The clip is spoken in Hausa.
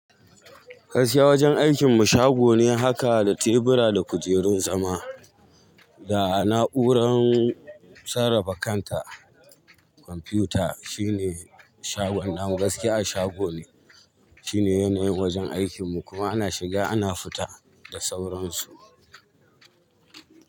Gaskiya wajen aikin mu shago ne haka da tabura da kujerun zama. Da na'uran sarrafa kanta. Kwamfiyuta shine shagon namu gaskiya shago ne. Shine yanayin wajen aikin mu kuma ana shiga ana fita da sauransu.